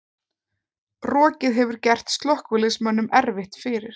Rokið hefur gert slökkviliðsmönnum erfitt fyrir